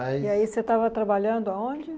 Mas. E aí, você estava trabalhando aonde?